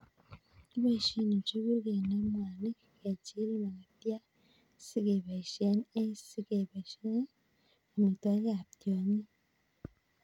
kipoishe njuguk kenem mwanik, kechil makatiat sikebaishe eng' sikeboishe eng' amitwog'ik ab tiong'ik